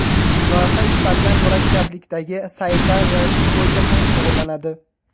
Loyiha istalgan murakkablikdagi saytlar yaratish bo‘yicha ham shug‘ullanadi.